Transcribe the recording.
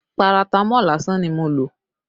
Paratamọ́ọ̀ lásán ni mo lò